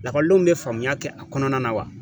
Lakɔlidenw bɛ faamuya kɛ a kɔnɔna na wa?